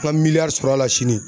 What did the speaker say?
nka miliyari sɔrɔ a la sini.